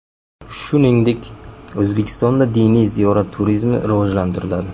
Shuningdek, O‘zbekistonda diniy ziyorat turizmi rivojlantiriladi .